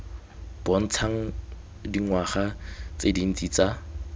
bontshang dingwaga tse dintsi tsa